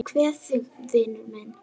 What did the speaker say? Ég kveð þig vinur minn.